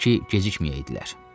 Təki gecikməyəydilər.